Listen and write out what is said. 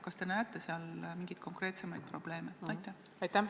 Kas te näete seal mingeid konkreetseid probleeme?